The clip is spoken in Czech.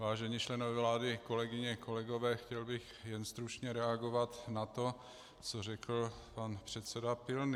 Vážení členové vlády, kolegyně, kolegové, chtěl bych jen stručně reagovat na to, co řekl pan předseda Pilný.